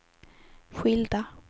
skilda